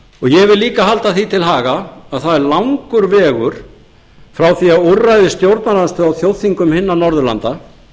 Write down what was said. ég vil líka halda því til haga að það er langur vegur frá því að úrræði stjórnarandstöðu á þjóðþingum hinna norðurlanda